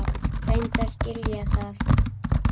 Reyndu að skilja það!